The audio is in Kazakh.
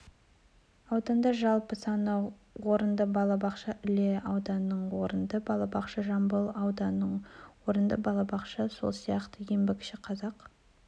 ауданындажалпы саны орынды балабақша іле ауданында орынды балабақша жамбыл ауданында орынды балабақша сол сияқты еңбекшіқазақ